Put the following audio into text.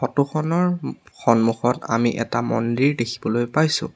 ফটোখনৰ সন্মুখত আমি এটা মন্দিৰ দেখিবলৈ পাইছোঁ।